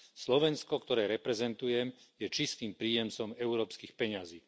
Slovensko, ktoré reprezentujem, je čistým príjemcom európskych peňazí.